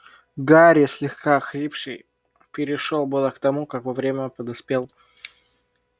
гарри слегка охрипший перешёл было к тому как во время подоспел